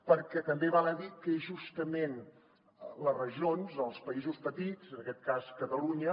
perquè també val a dir que justament les regions els països petits en aquest cas catalunya